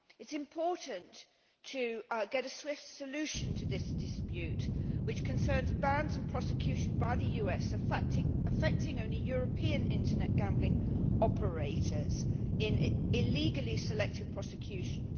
It is important to get a swift solution to this dispute, which concerns bans and prosecutions by the US affecting only European Internet gambling operators in illegally selective prosecutions.